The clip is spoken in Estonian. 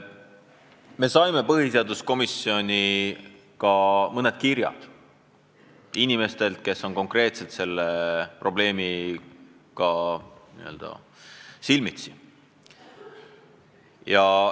Me saime põhiseaduskomisjoni mõned kirjad inimestelt, kes selle probleemiga silmitsi on.